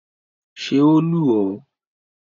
Ṣé o lù ọ́?